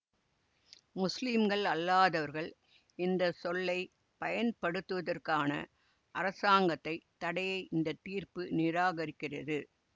முஸ்லிம்கள் அல்லாதவர்கள் இந்த சொல்லை பயன்படுத்துவதற்கான அரசாங்கத்தை தடையை இந்த தீர்ப்பு நிராகரிக்கிறது